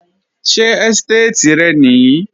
Ṣé ẹ́stéètì rẹ nìí?